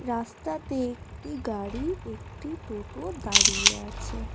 রাস্তাতে একটি গাড়ি একটি টোটো দাঁড়িয়ে আছে।